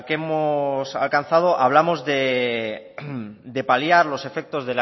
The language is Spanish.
hemos alcanzado hablamos de paliar los efectos